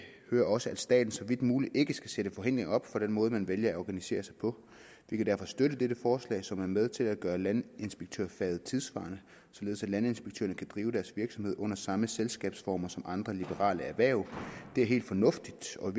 hører også at staten så vidt muligt ikke skal sætte forhindringer op for den måde man vælger at organisere sig på vi kan derfor støtte dette forslag som er med til at gøre landinspektørfaget tidssvarende således at landinspektørerne kan drive deres virksomhed under samme selskabsformer som andre liberale erhverv det er helt fornuftigt og